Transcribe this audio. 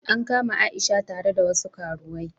An kama Aisha tare da wasu karuwai.